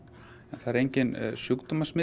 það er engin